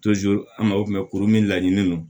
an tun bɛ kuru min laɲini don